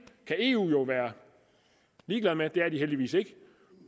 kan eu jo være ligeglad med det er de heldigvis ikke